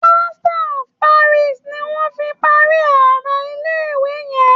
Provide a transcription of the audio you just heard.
Plaster of Paris ni wón fi parí ara ilé ìwé yẹn.